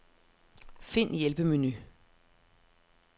Find hjælpemenu.